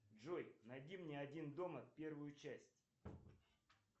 джой найди мне один дома первую часть